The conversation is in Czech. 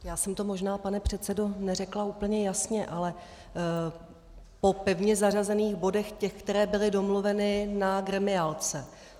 Já jsem to možná, pane předsedo, neřekla úplně jasně, ale po pevně zařazených bodech, těch, které byly domluveny na gremiálce.